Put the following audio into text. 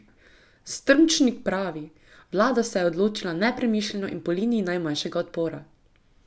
Strmčnik pravi: "Vlada se je odločila nepremišljeno in po liniji najmanjšega odpora.